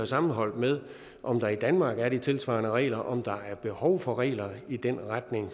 sammenholdt med om der i danmark er tilsvarende regler og om der er behov for regler i den retning